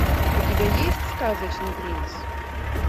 у тебя есть сказочный принц